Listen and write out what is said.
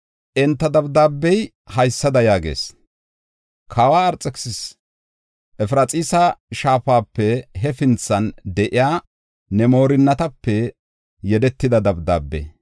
Enta dabdaabey haysada yaagees; “Kawa Arxekisisas, Efraxiisa Shaafape hefinthan de7iya ne moorinatape yedetida dabdaabe.